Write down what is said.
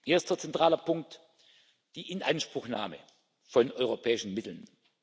Erster zentraler Punkt die Inanspruchnahme von europäischen Mitteln.